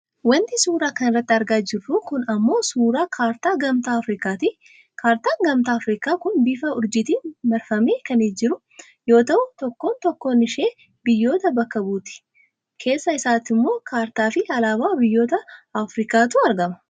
Wanti suuraa kanarratti argaa jiru kun ammoo suuraa kaartaa gamtaa Afrikaati. Kaartaan gamtaa Aafrikaa kun bifa uurjiitiin marfamee kan jiru yoo ta'u tokkoon tokkoon ishee biyyoota bakka buuti. Keessa isaattimmoo kaartaafi alaabaa biyyoota Aafrikaatu argama.